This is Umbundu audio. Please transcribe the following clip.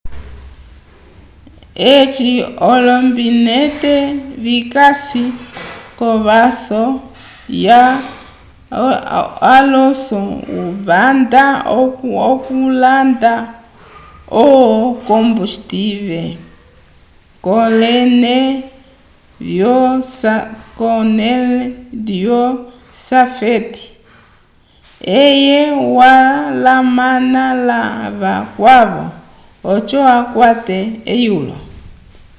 eci olombinete vikasi kovaso ya alonso vanda okulanda o combustive kolene vyo safety car eye walamana la vakwavo oco akwate eyulo